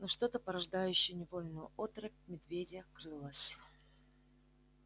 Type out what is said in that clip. но что-то порождающее невольную оторопь в медведе крылось